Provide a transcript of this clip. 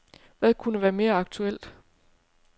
Hvad kunne være mere aktuelt.